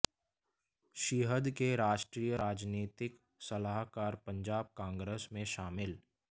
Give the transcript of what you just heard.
शिअद के राष्ट्रीय राजनीतिक सलाहकार पंजाब कांग्रेस में शामिल